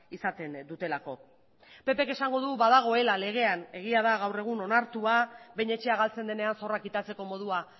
izaten dutelako ppk esango du badagoela legean egia da gaur egun onartua behin etxea galtzen denean zorra kitatzeko modua